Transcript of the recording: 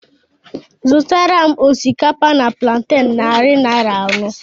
Zụtara m osikapa na planten narị naira anọ